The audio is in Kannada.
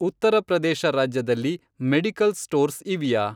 ಉತ್ತರಪ್ರದೇಶ ರಾಜ್ಯದಲ್ಲಿ ಮೆಡಿಕಲ್ ಸ್ಟೋರ್ಸ್ ಇವ್ಯಾ?